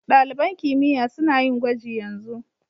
Dalibain kimiyya suna yin gwaji yanzu.